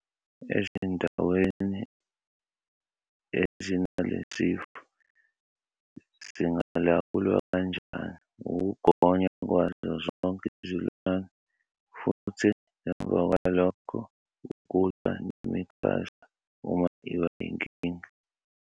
Ezindaweni ezinalesi sifo, singalawulwa kanjani- ukugonywa kwazo zonke izilwane, futhi ngemva kwalokho, ukulwa nemikhaza uma iba yinkinga.